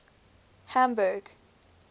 hamburg